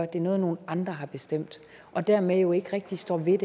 at det er noget nogle andre har bestemt og dermed jo ikke rigtig står ved